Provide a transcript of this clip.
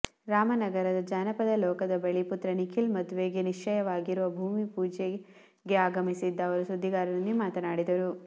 ರಾಮನಗರದ ಜಾನಪದ ಲೋಕದ ಬಳಿ ಪುತ್ರ ನಿಖಿಲ್ ಮದುವೆಗೆ ನಿಶ್ಚಯವಾಗಿರುವ ಭೂಮಿ ಪೂಜೆಗೆ ಆಗಮಿಸಿದ್ದ ಅವರು ಸುದ್ದಿಗಾರೊಂದಿಗೆ ಮಾತನಾಡಿದರು